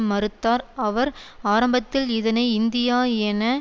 மறுத்தார் அவர் ஆரம்பத்தில் இதனை இந்தியா என